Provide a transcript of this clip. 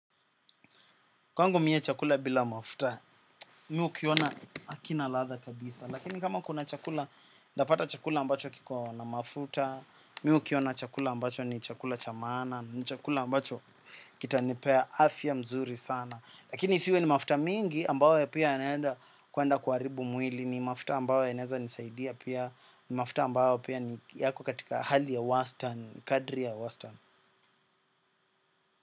Kwangu mie chakula bila mafuta, mimi hukiona hakina latha kabisa. Lakini kama kuna chakula, ntapata chakula ambacho kikona mafuta. Mi hukiona chakula ambacho ni chakula cha maana. Ni chakula ambacho kitanipea afya mzuri sana. Lakini isiwe ni mafuta mingi ambayo pia yanaenda kuenda kuharibu mwili. Ni mafuta ambayo yanaeza nisaidia pia. Ni mafuta ambayo pia ni yako katika hali ya Western, kadri ya Western.